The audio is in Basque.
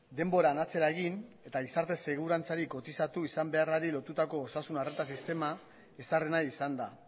denboran atzera egin eta gizarte segurantzari kotizatu izan beharrari lotutako osasun arreta sistema ezarri nahi izan da